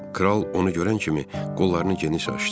Kral onu görən kimi qollarını geniş açdı.